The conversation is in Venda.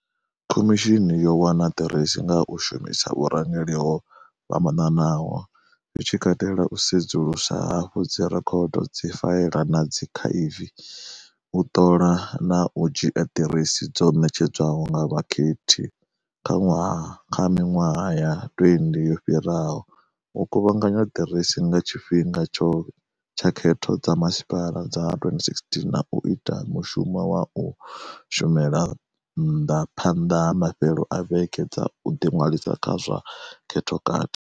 Khomishini yo wana ḓiresi nga u shumisa vhurangeli ho fhambanaho, zwi tshi katela u sedzulusa hafhu dzi rekhodo, dzifaela na dzi akhaivi u ṱola na u dzhia ḓiresi dzo ṋetshedzwaho nga vhakhethi kha miṅwaha ya 20 yo fhiraho, u kuvhanganya ḓiresi nga tshifhinga tsha khetho dza masipala dza 2016, na u ita mushumo wa u shumela nnḓa phanḓa ha mafhelo a vhege dza u ḓiṅwalisa kha zwa khethokati.